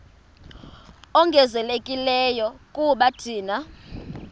ongezelelekileyo kuba thina